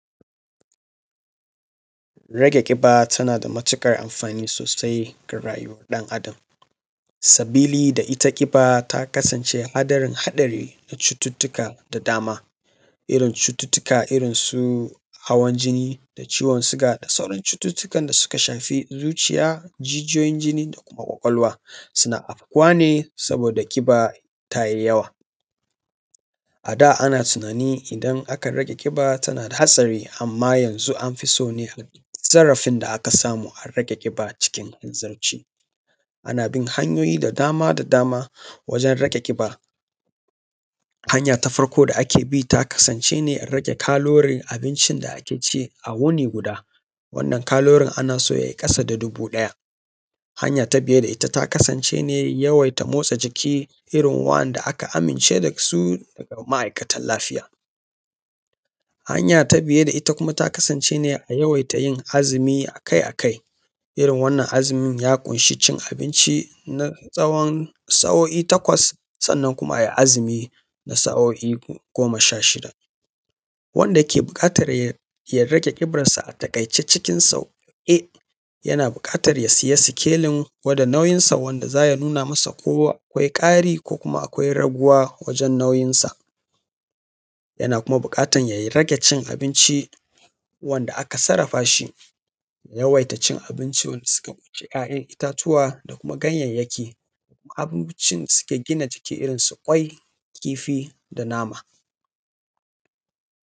Rage ƙiba tana da matuƙar amfani sosai ga rayuwar ɗan’Adam saboda ita ƙiba ta kasance haɗarin, haɗari ga cututuka da dama irin cututka, irin su hawan jini da ciwon sugar da dai sauransu. Cututkan da suka shafi zuciya da kuma kwakwalwa suna afkuwa ne saboda ƙiba ta yi yawa ada, ana tunani idan aka rage ƙiba tana da hatsari amma yanzu an fi so ne zarafin da aka samu a rage ƙiba cikin hanzarci, ana bin hanyoyi da dama wajen rage ƙiba. Hanya ta farko da ake bi ta kasance ne rage kalorin abincin da ake ci a wuri guda, wannan kalorin ana so ya yi ƙasa da dubu ɗaya, hanya ta biye da ita ta kasance ne yawaita motsa jiki irin wa’anda aka amince da su a ma’aikatan lafiya. Hanya ta biye da ita kuma ta kasance ne a yawaita yin azumin akai-akai irin wannan azumin ya ƙunshi cin abinci na tsawon sa’o’i takwas sannan kuma a yi azumi na sa’oi goma sha shida. Wanda ke buƙatar ya rage ƙibarsa a taƙaice cikin sauƙi yana buƙatar ya siya sikelen gwada nauyinsa wanda za ya nuna masa ko akwai ƙari ko akwai raguwa wajen nauyinsa, yana kuma buƙatar ya sake cin abinci wanda aka sarafa shi, yawaita cin abinci da suka ƙunshi kayan itatuwa da kuma ganyayeki, abincin da suke gina jiki irin su kwai kifi da nama.